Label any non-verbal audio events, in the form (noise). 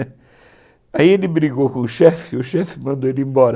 (laughs) Aí ele brigou com o chefe e o chefe mandou ele embora.